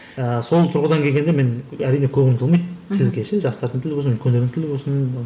жаңағы сол тұрғыдан келгенде мен әрине көңілім толмайды жастардың тілі болсын үлкендердің тілі болсын